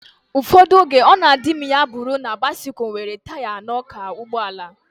Ụfọdụ oge, ọ na adị m ya bụrụ na bisikul nwere taya anọ ka ụgbọala